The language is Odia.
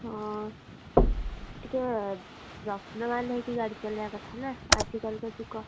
ହଁ ଟିକେ ଯତ୍ନବାନ ହେଇକି ଗାଡି ଚଳେଇବା କଥା ନା ଆଜି କାଲି କା ଯୁଗ!